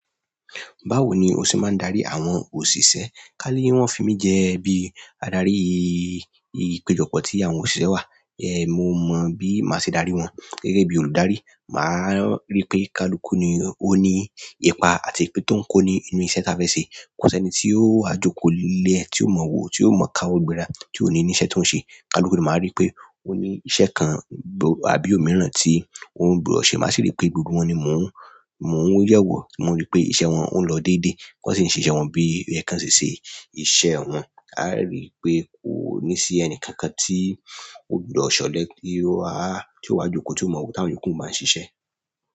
Báwo ni o ṣe máa ń darí àwọn òṣìṣẹ́ ká ní wọ́n fi mí jẹ́ bí adarí ipejọpọ ti àwọn òṣìṣẹ́ wà ẹ̀ mo mọ̀ bí máa ṣe darí wọn. Gẹ́gẹ́ bí olùdarí, màá rí pé kalukú ni ó ní ipa àti pé tó ń kó nínú iṣẹ́ tá fẹ ṣe. Kò sí ẹni tí ó wá joko lẹ́ẹ̀ tí ó mọ̀ọ́ wo, tí ó mọ̀ọ́ káwọ́ gbéra, tí ó ní ní iṣẹ́ tó ń ṣe. Kaluku ni màá rí pé ó ní iṣẹ́ kan àbí òmíràn tí òun gbọdọ̀ ṣe. Màá sì rí pé gbogbo wọn ni mò ń yẹ̀ wọ̀, mò ń rí pé iṣẹ́ wọn ń lọ déédéé. Wọn sì ń ṣe iṣẹ́ wọn bí oyẹ́ kan ṣe ṣe iṣẹ́ wọn. A á rí pé kò ní sí ẹni kankan tí ó gbọdọ̀ ṣọ̀lẹ kí a tí ó wá joko tí ó mọ̀ọ́ ká wọ́n jù kí wọ́n máa ṣiṣẹ́.